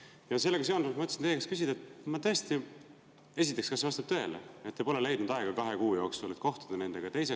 " Ja sellega seonduvalt mõtlesin teie käest küsida: esiteks, kas see vastab tõele, et te pole leidnud kahe kuu jooksul aega, et kohtuda nendega?